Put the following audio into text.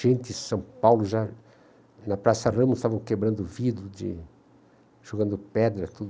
Gente, São Paulo já... Na Praça Ramos estavam quebrando vidro de... jogando pedra, tudo.